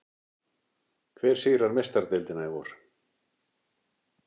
Hver sigrar Meistaradeildina í vor?